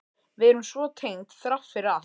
Við erum svo tengd þrátt fyrir allt.